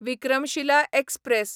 Vikramshila express